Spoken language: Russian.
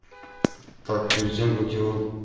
так перед тем как его